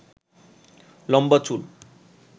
লম্বা চুল